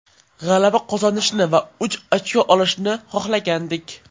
G‘alaba qozonishni va uch ochko olishni xohlagandik.